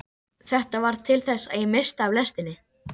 Þetta varð til þess að ég missti af lestinni.